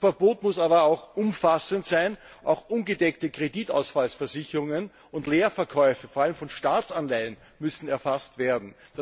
Das Verbot muss aber umfassend sein, auch ungedeckte Kreditausfallversicherungen und Leerverkäufe, vor allem von Staatsanleihen, müssen erfasst werden.